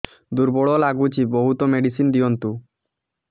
ଦୁର୍ବଳ ଲାଗୁଚି ବହୁତ ମେଡିସିନ ଦିଅନ୍ତୁ